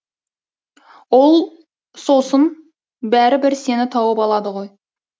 ол сосын бәрі бір сені тауып алады ғой